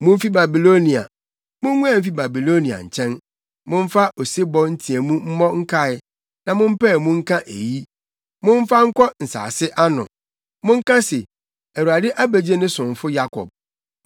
Mumfi Babilonia, munguan mfi Babiloniafo nkyɛn! Momfa osebɔ nteɛmu mmɔ nkae na mompae mu nka eyi. Momfa nkɔ nsase ano; monka se, “ Awurade abegye ne somfo Yakob.”